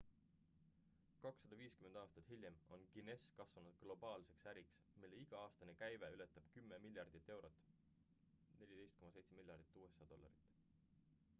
250 aastat hiljem on guinness kasvanud globaalseks äriks mille iga-aastane käive ületab 10 miljardit eurot 14,7 miljardit usa dollarit